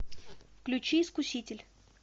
включи искуситель